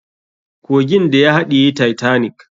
Kogin da ya haɗiye titanic.